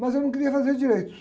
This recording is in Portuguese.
Mas eu não queria fazer direito.